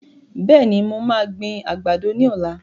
Bẹ́ẹ̀ni, mo máa gbin àgbàdo ní ọ̀la